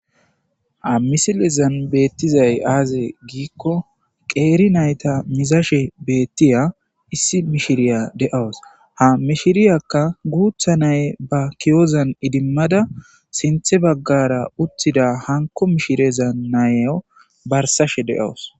Ha misilezan beettizay aaze giikko qeeri nayta mizashe beettiya issi mishiriya de'aws ha mishiriyakka guutha nay ba kiyozan idimmada sinthe baggara uttida hanko mishirezan nayo barsashe deowus.